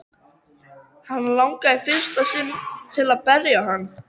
Hana langar í fyrsta sinn til að berja hann.